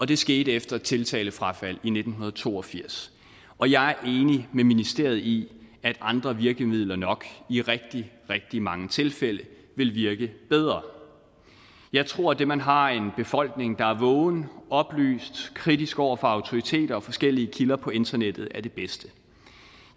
det skete efter et tiltalefrafald i nitten to og firs og jeg er enig med ministeriet i at andre virkemidler nok i rigtig rigtig mange tilfælde vil virke bedre jeg tror at det at man har en befolkning der er vågen oplyst kritisk over for autoriteter og forskellige kilder på internettet er det bedste